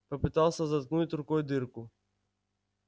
попытался заткнуть рукой дырку